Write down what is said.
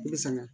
I bi sɛgɛn